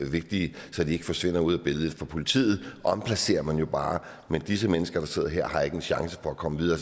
vigtige så de ikke forsvinder ud af billedet politiet omplacerer man jo bare men disse mennesker der sidder her har ikke en chance for at komme videre